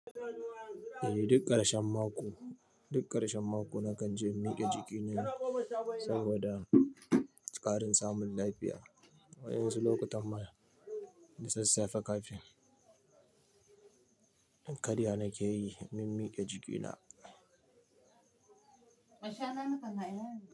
Duk ƙarshen mako, duk ƙarshen mako nakan je in miƙe jiki ne saboda ƙarin samun lafiya wayin zu lokutan mana da sassafe kafin. Karya nake yi, min miƙe jiki na.